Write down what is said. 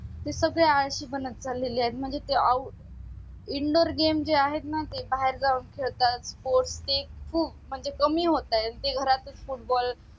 ते सगळे आळशी बनत चालेले आहे म्हणजे तेआऊ indoor games जे आहेत ना बाहेर जाऊन खेळतात postic फु म्हणजे कमी होतात ते घरात च footboll